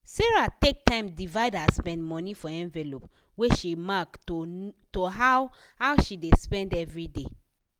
sarah take time divide her spend money for envelope wey she mark to how how she dey spend everyday.